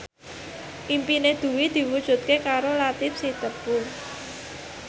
impine Dwi diwujudke karo Latief Sitepu